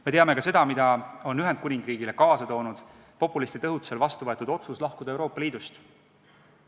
Me teame ka seda, mida on Ühendkuningriigile kaasa toonud populistide õhutusel vastu võetud otsus Euroopa Liidust lahkuda.